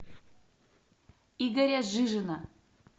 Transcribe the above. игоря жижина